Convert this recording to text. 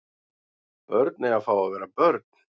Börn eiga að fá að vera börn